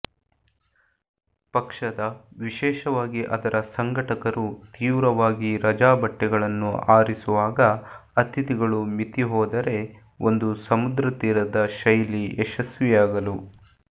ಪಕ್ಷದ ವಿಶೇಷವಾಗಿ ಅದರ ಸಂಘಟಕರು ತೀವ್ರವಾಗಿ ರಜಾ ಬಟ್ಟೆಗಳನ್ನು ಆರಿಸುವಾಗ ಅತಿಥಿಗಳು ಮಿತಿ ಹೋದರೆ ಒಂದು ಸಮುದ್ರತೀರದ ಶೈಲಿ ಯಶಸ್ವಿಯಾಗಲು